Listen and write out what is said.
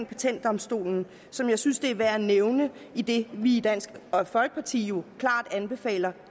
patentdomstolen som jeg synes det er værd at nævne idet vi i dansk folkeparti jo klart anbefaler